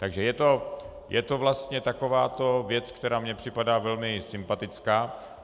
Takže je to vlastně taková věc, která mně připadá velmi sympatická.